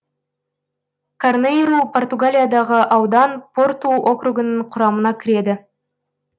карнейру португалиядағы аудан порту округінің құрамына кіреді